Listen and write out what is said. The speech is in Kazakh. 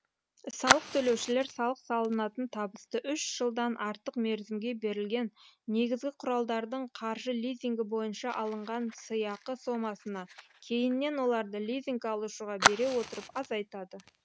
салық төлеушілер салық салынатын табысты үш жылдан артық мерзімге берілген негізгі құралдардың қаржы лизингі бойынша алынған сыйақы сомасына кейіннен оларды лизинг алушыға бере отырып азайтады